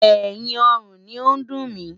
Ẹ̀yìn ọrùn ni ó ń dùn mí.